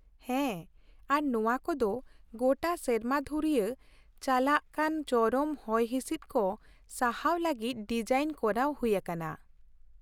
ᱦᱮᱸ, ᱟᱨ ᱱᱚᱶᱟ ᱠᱚᱫᱚ ᱜᱚᱴᱟ ᱥᱮᱨᱢᱟ ᱫᱷᱩᱨᱭᱟᱹ ᱪᱟᱞᱟᱜ ᱠᱟᱱ ᱪᱚᱨᱚᱢ ᱦᱚᱭ ᱦᱤᱸᱥᱤᱫ ᱠᱚ ᱥᱟᱦᱟᱣ ᱞᱟᱹᱜᱤᱫ ᱰᱤᱡᱟᱤᱱ ᱠᱚᱨᱟᱣ ᱦᱩᱭ ᱟᱠᱟᱱᱟ ᱾